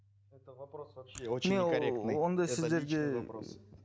это вопрос вообще очень не корректный